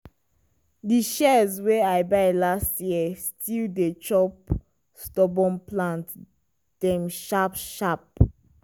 di shears wey i buy last year still dey chop stubborn plant dem sharp sharp.